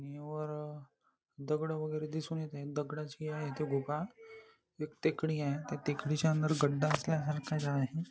वर दगड वैगेरे दिसून येत आहे दगडाची आहे ते गुहा एक टेकडी आहे त्या टेकडीच्या अंदर गड्डा असल्या सारखा आहे.